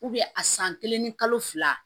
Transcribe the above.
a san kelen ni kalo fila